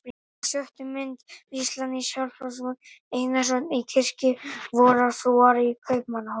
Á sjöttu mynd: vígsla nýs Skálholtsbiskups, Gizurar Einarssonar, í kirkju vorrar frúar í Kaupmannahöfn.